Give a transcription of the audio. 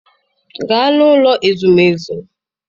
Gaa n'ụlọ ezumezu!